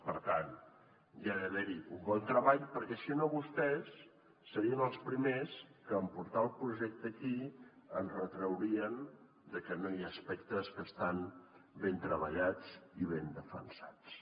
per tant hi ha d’haver hi un bon treball perquè si no vostès serien els primers que en portar el projecte aquí ens retraurien que hi ha aspectes que no estan ben treballats i ben defensats